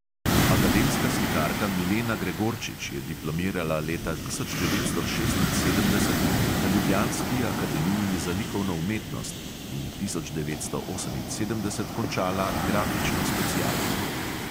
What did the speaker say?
Akademska slikarka milena gregorčič je diplomirala leta tisoč devetsto šestinsedemdeset na ljubljanski akademiji za likovno umetnost in tisoč devetsto oseminsedemdeset končala grafično specialko.